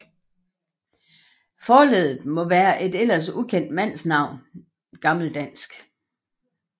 Forleddet må være et ellers ukendte mandsnavn glda